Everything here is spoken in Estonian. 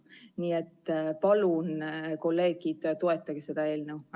Nii et palun, kolleegid, toetage seda eelnõu!